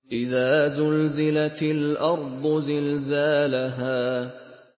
إِذَا زُلْزِلَتِ الْأَرْضُ زِلْزَالَهَا